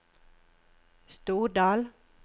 Stordal